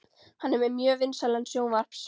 Hann er með mjög vinsælan sjónvarps